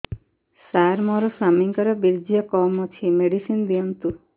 ସାର ମୋର ସ୍ୱାମୀଙ୍କର ବୀର୍ଯ୍ୟ କମ ଅଛି ମେଡିସିନ ଦିଅନ୍ତୁ